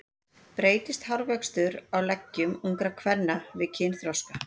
Breytist hárvöxtur á leggjum ungra kvenna við kynþroska?